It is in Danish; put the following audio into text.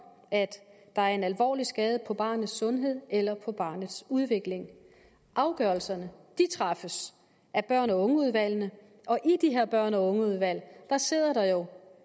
at der er en alvorlig skade på barnets sundhed eller på barnets udvikling afgørelserne træffes af børn og unge udvalgene og i de her børn og unge udvalg sidder der jo